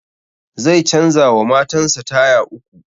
Zai canza wa matan sa taya uku